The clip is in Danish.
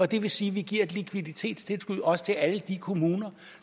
det vil sige at vi giver et likviditetstilskud også til alle de kommuner